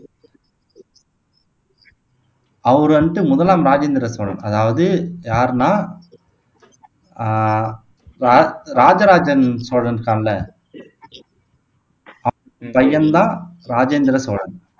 அவரு வந்துட்டு முதலாம் ராஜேந்திர சோழன் அதாவது யாருன்னா ஆஹ் ரா ராஜராஜன் சோழன் இருக்கான்ல அவன் பையன் தான் ராஜேந்திர சோழன்